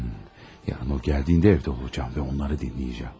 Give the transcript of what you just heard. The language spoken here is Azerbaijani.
Hım, sabah o gələndə evdə olacağam və onları dinləyəcəyəm.